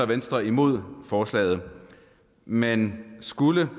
venstre imod forslaget men skulle